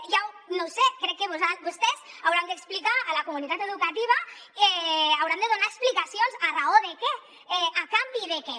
no ho sé crec que vostès hauran d’explicar a la comunitat educativa hauran de donar explicacions a raó de què a canvi de què